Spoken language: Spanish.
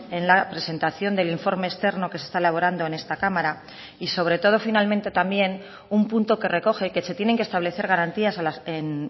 en la presentación del informe externo que se está elaborando en esta cámara y sobre todo finalmente también un punto que recoge que se tienen que establecer garantías en